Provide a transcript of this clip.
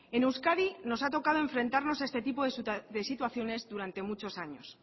en euskadi nos ha tocado enfrentarnos a este tipo de situaciones durante muchos años